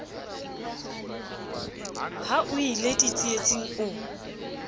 ha o ie ditsietsing o